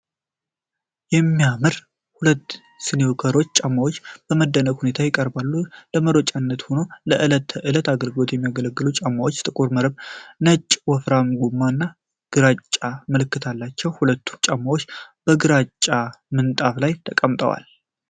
የሚያምሩ ጥቁር ስኒከር ጫማዎች በምደነቅ ሁነታ ይቀርባሉ፤ ለመሮጫነትም ሆነ ለዕለት ተዕለት አገልግሎት ያገለግላሉ። ጫማዎቹ ጥቁር መረብ ነጭ ወፍራም ጎማ እና ግራጫ ምልክት አላቸው። ሁለቱም ጫማዎች በግራጫ ምንጣፍ ላይ ተቀምጠዋል።